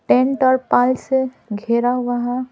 Tent और पाल से घेरा हुआ है।